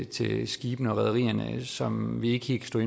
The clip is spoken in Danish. til skibene og rederierne som vi ikke helt kan